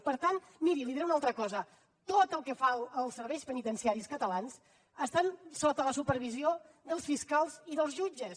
i per tant miri li diré una altra cosa tot el que fan els serveis penitenciaris catalans està sota la supervisió dels fiscals i dels jutges